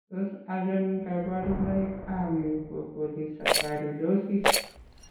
Tos achon kabarunaik ab Mucopolysaccharidosis ?